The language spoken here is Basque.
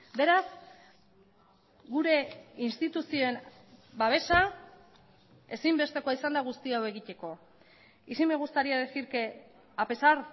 beraz gure instituzioen babesa ezinbestekoa izan da guzti hau egiteko y sí me gustaría decir que a pesar